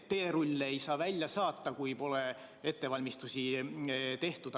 Teerulle ei saa välja saata, kui pole ettevalmistusi tehtud.